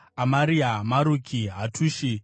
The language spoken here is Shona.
Amaria, Maruki, Hatushi,